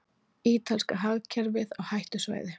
Ítalska hagkerfið á hættusvæði